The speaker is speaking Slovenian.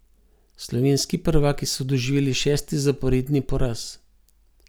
Slovenski prvaki so doživeli šesti zaporedni poraz.